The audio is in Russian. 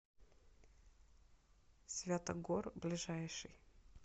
святогор ближайший